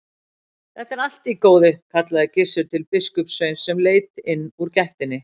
Þetta er allt í góðu, kallaði Gizur til biskupssveins sem leit inn úr gættinni.